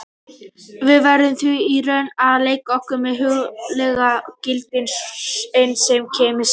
Við verðum því í raun að leika okkur með hugsanleg gildi, enn sem komið er.